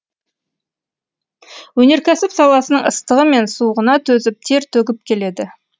өнеркәсіп саласының ыстығы мен суығына төзіп тер төгіп келеді